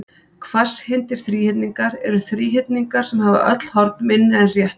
hvasshyrndir þríhyrningar eru þríhyrningar sem hafa öll horn minni en rétt horn